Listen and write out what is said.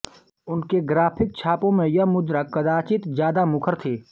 उनके ग्राफिक छापों में यह मुद्रा कदाचित ज्यादा मुखर थी